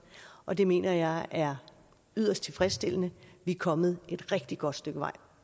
og det mener jeg er yderst tilfredsstillende vi er kommet et rigtig godt stykke vej